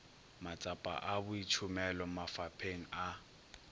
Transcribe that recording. matsapa a boitšhomelo mafapheng a